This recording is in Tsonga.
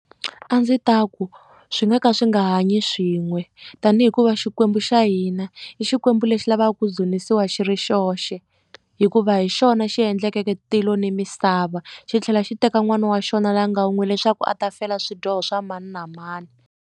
A ndzi ta ku swi nga ka swi nga hanyi swin'we tanihi hikuva Xikwembu xa hina i Xikwembu lexi lavaka ku dzunisiwa xi ri xoxe hikuva hi xona xi endleke tilo na misava xi tlhela xi teka n'wana wa xona loyi a nga wun'we leswaku a ta fela swidyoho swa mani na mani.